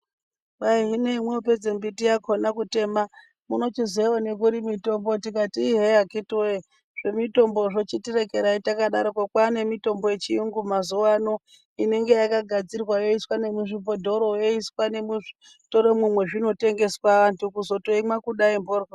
Kwayi hino hemo pedze mbiti yakona kutema munochizowana kuri mitombo, tikati yiii hee vakiti wee zvemitombozvo chitirekerai takadaroko, kwaa nemitombo yechiyungu mazuvano inenge yakagadzirwaa yoiswa nemuzvibhodhoro yoiswa nomuzvitoromo mezvinotengeswaa vantu kuzotoimwa kudai mhodhloo.